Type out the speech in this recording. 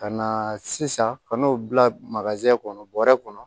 Ka na sisan ka n'o bila kɔnɔ bɔrɛ kɔnɔ